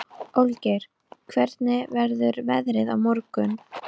Olgeir, hvernig verður veðrið á morgun?